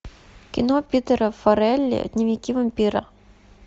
кино питера фаррелли дневники вампира